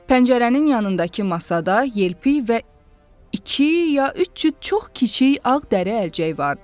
Pəncərənin yanındakı masada yelpiy və iki ya üç cüt çox kiçik ağ dəri əlcək vardı.